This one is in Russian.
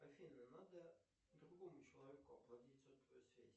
афина надо другому человеку оплатить сотовую связь